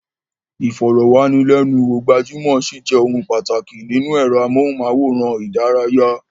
Ìfọ̀rọ̀wánilẹ́nuwò gbajúmọ̀ ṣì jẹ́ ohun pàtàkì nínú ẹ̀rọ amóhùnmáwòrán ìdárayá.